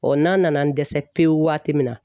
n'a nana n dɛsɛ pewu waati min na.